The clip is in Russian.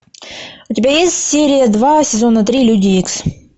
у тебя есть серия два сезона три люди икс